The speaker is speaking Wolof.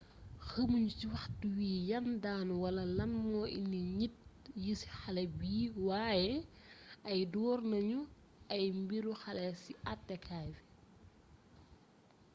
xamuñu ci waxtu wi yan daan wala lan moo indi njit yi ci xalé bi wayé ay doornañu ay mbiru xalé ci attékaay bi